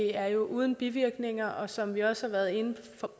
er uden bivirkninger som vi også har været inde